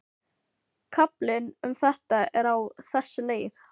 Kaflinn um þetta er á þessa leið: